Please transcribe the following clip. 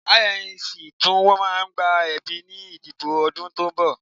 INEC tún máa gba ẹ̀bí ní ìdìbò ọdún tó ń bọ̀